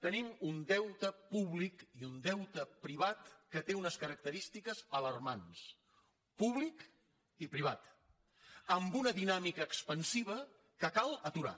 tenim un deute públic i un deute privat que té unes característiques alarmants públic i privat amb una dinàmica expansiva que cal aturar